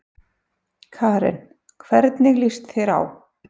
Karen: En hvernig lýst þér á?